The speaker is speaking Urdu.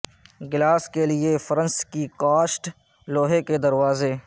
گلاس کے لئے فرنس کی کاسٹ لوہے کے دروازے